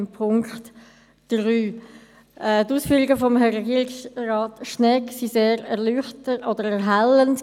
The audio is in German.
Die Ausführungen von Regierungsrat Schnegg waren sehr erhellend.